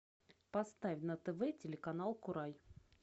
поставь на тв телеканал курай